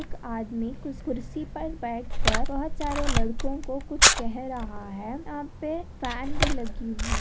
एक आदमी कुस कुर्सी पर बैठकर बहुत सारे लड़कों को कुछ कह रहा है यहाँ पे फैन भी लगी हुई --